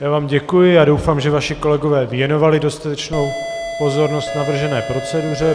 Já vám děkuji a doufám, že vaši kolegové věnovali dostatečnou pozornost navržené proceduře.